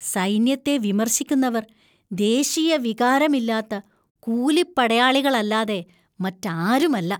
സൈന്യത്തെ വിമർശിക്കുന്നവര്‍ ദേശീയ വികാരമില്ലാത്ത കൂലിപ്പടയാളികളല്ലാതെ മറ്റാരുമല്ല.